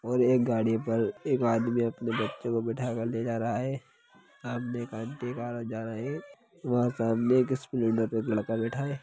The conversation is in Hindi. और एक गाड़ी पर एक आदमी अपने बच्चों को बीठा कर ले जा रहा है वह सामने एक आंटी वह सामने एक स्प्लेंडर पे एक लड़का बैठा है।